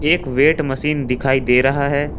एक weight machine दिखाई दे रहा है।